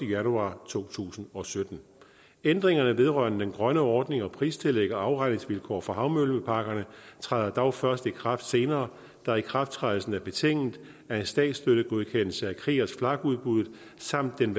januar to tusind og sytten ændringerne vedrørende den grønne ordning og pristillæg og afregningsvilkår for havvindmølleparkerne træder dog først i kraft senere da ikrafttrædelsen er betinget af en statsstøttegodkendelse af kriegers flak udbuddet samt en